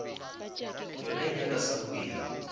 yona e nyaka sa bobedi